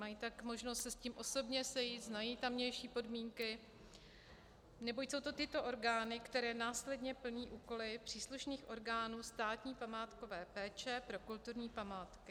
Mají tak možnost se s tím osobně setkat, znají tamější podmínky, neboť jsou to tyto orgány, které následně plní úkoly příslušných orgánů státní památkové péče pro kulturní památky.